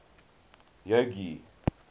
jogee